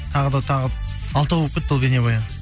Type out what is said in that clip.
тағы да тағы алтау болып кетті ғой бейнабаян